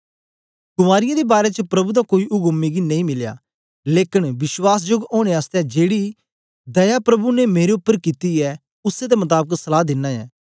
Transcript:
कुँवारियें दे बारै च प्रभु दा कोई उक्म मिगी नेई मिलया लेकन विश्वासजोग ओनें आसतै जेड़ी दया प्रभु ने मेरे उपर कित्ती ऐ उसै दे मताबक सलहा दिनां ऐं